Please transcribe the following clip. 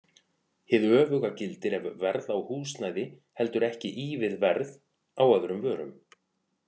Hið öfuga gildir ef verð á húsnæði heldur ekki í við verð á öðrum vörum.